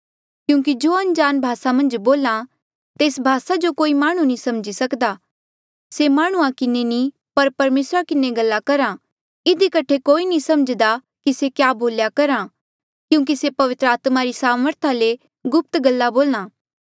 क्यूंकि जो अनजाण भासा मन्झ बोल्हा तेस भासा जो कोई माह्णुं नी समझी सकदा से माह्णुंआं किन्हें नी पर परमेसरा किन्हें गल्ला करहा इधी कठे कोई नी सम्झ्हदा कि से क्या बोल्या करहा क्यूंकि से पवित्र आत्मा री सामर्था ले गुप्त गल्ला बोल्हा